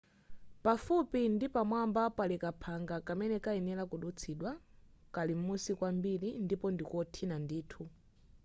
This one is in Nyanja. pafupi ndi pamwamba pali kaphanga kamene kayenera kudutsidwa kali m'musi kwambiri ndipo ndikothina ndithu